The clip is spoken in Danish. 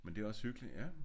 Men det er også hyggeligt ja